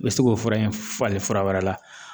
I bi se k'o fura in falen fura wɛrɛ la